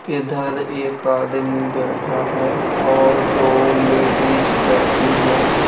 इधर एक आदमी बैठा है और दो लेडीस बैठी हैं।